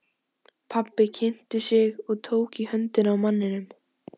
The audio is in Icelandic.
Pabbi kynnti sig og tók í höndina á manninum.